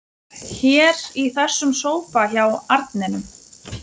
Hér í þessum sófa hjá arninum.